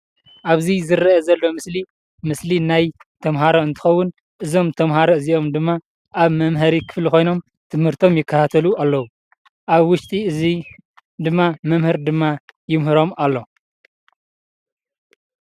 ኣብዚ ዝረአ ዘሎ ምስሊ ምስሊ ናይ ተማሃሮ እንትከውን እዞም ተማሃሮ እዚኦም ድማ ኣብ መምሃሪ ክፍሊ ኮይኖም ትምህርቶም ይከታተሉ ኣለው። ኣብ ውሽጢ እዙይ ድማ መምህር ድማ የምህሮም ኣሎ።